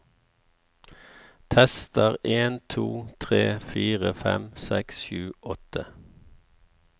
Tester en to tre fire fem seks sju åtte